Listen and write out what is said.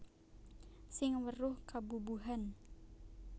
Sing weruh kebubuhan